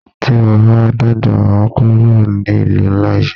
Tí mo bá dàgbà máa kúrò ní ìlú ńlá yí.